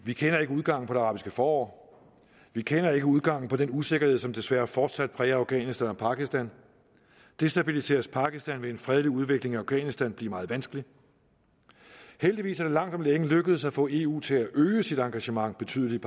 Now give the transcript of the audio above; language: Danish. vi kender ikke udgangen på det arabiske forår vi kender ikke udgangen på den usikkerhed som desværre fortsat præger afghanistan og pakistan destabiliseres pakistan vil en fredelig udvikling i afghanistan blive meget vanskelig heldigvis er det langt om længe lykkedes at få eu til at øge sit engagement betydeligt